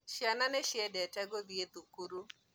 Ciana nĩciendete gũthiĩ thukuru